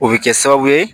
O bɛ kɛ sababu ye